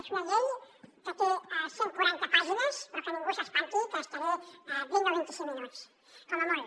és una llei que té cent quaranta pàgines però que ningú s’espanti que m’hi estaré vint o vint i cinc minuts com a molt